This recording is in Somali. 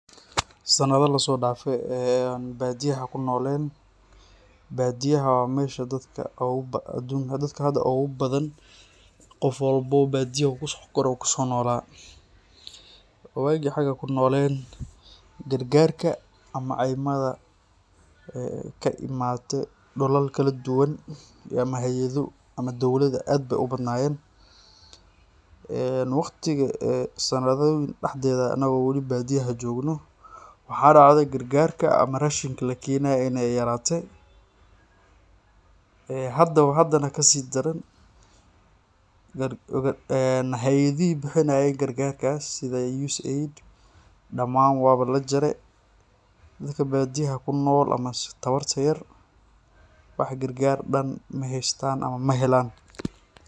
Sanada lasodafe ee oo an badiyaha kunolen, badiyaha wa mesha dadka hada ugubathan qof walbo badiya u kusokore u kusonolade. Wagi an xaga kunolen gargarka iyo ceymada kaimate dulal kaladuwan ama hayadho ama dowlada ay bay ubadnayen. Waqtiga ee sanadoyin daxdeda anago badiya jogno waxaa dacde gargarka ama rashinka lakenaye in ay yarate, ee hadawo hadana kasidaran, ee hayadhihi bixinayen gargarkas sida USAID daman wa ba lajare, dadka badiyaha kunol ama tawarta yar wax gargar dhan maheystan ama mahelan.